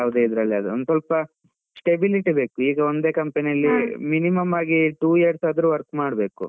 ಯಾವ್ದೆ ಇದ್ರಲ್ ಆದ್ರೂ ಒಂದ್ ಸ್ವಲ್ಪ stability ಬೇಕು, ಈಗ ಒಂದೇ company ಅಲ್ಲಿ minimum ಆಗಿ two years ಆದ್ರೂ work ಮಾಡ್ಬೇಕು.